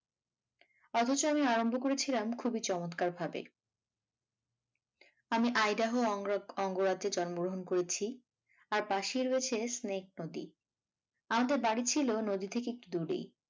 অথচ আমি আরম্ভ করেছিলাম খুবই চমৎকার ভাবে আমি অঙ্গরা~অঙ্গরাজ্যে জন্মগ্রহণ করেছি আর পাশেই রয়েছে snake নদী আমাদের বাড়ি ছিল নদী থেকে একটু দূরেই।